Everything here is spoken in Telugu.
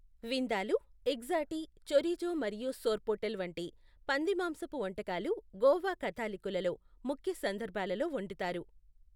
విందాలూ, ఎక్జాటీ, చోరిజో మరియు సోర్పోటెల్ వంటి పంది మాంసపు వంటకాలు గోవా కాథలిక్కులలో ముఖ్య సందర్భాలలో వండుతారు.